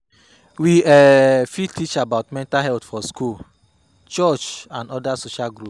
We um fit teach about mental health for school, church and oda social groups